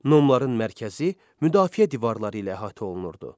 Nomların mərkəzi müdafiə divarları ilə əhatə olunurdu.